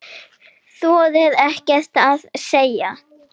Þorir ekkert að segja.